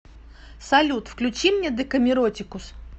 салют включи мне декамиротикус